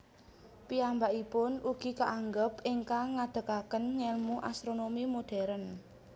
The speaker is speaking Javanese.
Piyambakipun ugi kaanggep ingkang ngadegaken ngèlmu astronomi modern